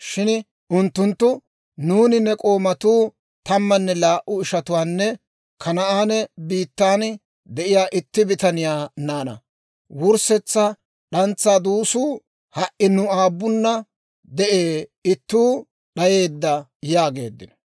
Shin unttunttu, «Nuuni ne k'oomatuu tammanne laa"u ishatuwaanne Kanaane biittan de'iyaa itti bitaniyaa naanaa. Wurssetsa d'antsaa duusuu ha"i nu aabunna de'ee; ittuu d'ayeedda» yaageeddino.